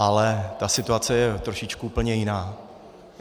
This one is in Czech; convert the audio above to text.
Ale ta situace je trošičku úplně jiná.